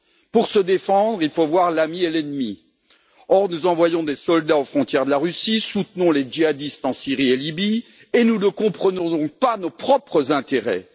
Pour se défendre, il faut voir l'ami et l'ennemi, or nous envoyons des soldats aux frontières de la Russie, soutenons les djihadistes en Syrie et Libye et ne comprenons donc pas nos propres intérêts.